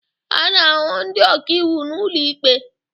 A na-ahụ ndị ọkàiwu n'ụlọ ikpe